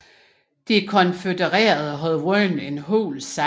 De konfødererede havde vundet en hul sejr